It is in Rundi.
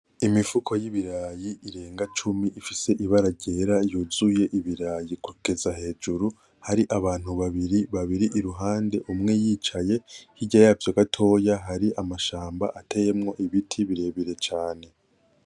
Imifuko y'ibirayi irenga cumi ifise ibara ryera n'ibirayi yuzuye kugeza hejuru. Hari abantu babiri i ruhande, umwe yicaye. Hirya yavyo gatoya hari amashamba ateyemwo ibiti birebire cane.